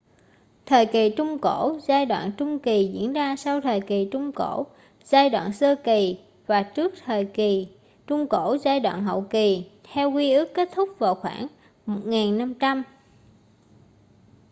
thời kỳ trung cổ giai đoạn trung kỳ diễn ra sau thời kỳ trung cổ giai đoạn sơ kỳ và trước thời kỳ trung cổ giai đoạn hậu kỳ theo quy ước kết thúc vào khoảng 1500